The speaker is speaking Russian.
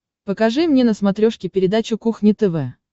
покажи мне на смотрешке передачу кухня тв